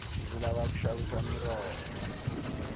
ndzi lava ku xavisa miroho